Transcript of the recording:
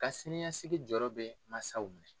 Ka siniɲɛsigi jɔyɔrɔ bɛ mansaw minɛ.